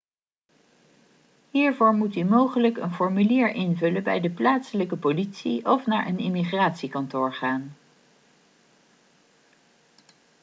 hiervoor moet u mogelijk een formulier invullen bij de plaatselijke politie of naar een immigratiekantoor gaan